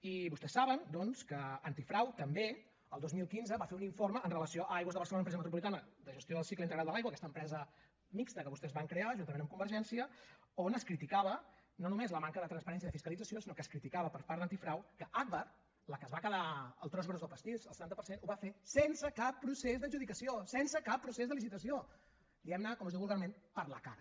i vostès saben doncs que antifrau també el dos mil quinze va fer un informe amb relació a aigües de barcelona empresa metropolitana de gestió del cicle integral de l’aigua aquesta empresa mixta que vostès van crear juntament amb convergència on es criticava no només la manca de transparència i de fiscalització sinó que es criticava per part d’antifrau que agbar la que es va quedar el tros gros del pastís el setanta per cent ho va fer sense cap procés d’adjudicació sense cap procés de licitaciódiu vulgarment per la cara